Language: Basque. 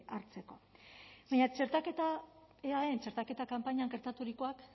hartzeko baina eaen txertaketa kanpainaren gertaturikoak